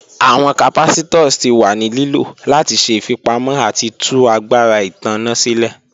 Awọn capacitors ti wa ni lilo lati ṣe ifipamọ ati tu agbara itanna silẹ.